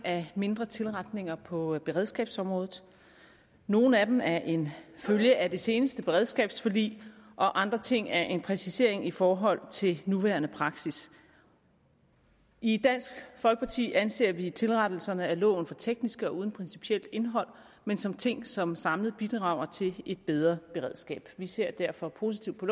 af mindre tilretninger på beredskabsområdet nogle af dem er en følge af det seneste beredskabsforlig og andre ting er en præcisering i forhold til nuværende praksis i dansk folkeparti anser vi tilretningerne af loven for tekniske og uden principielt indhold men som ting som samlet bidrager til et bedre beredskab vi ser derfor positivt på